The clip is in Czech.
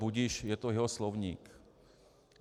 Budiž, je to jeho slovník.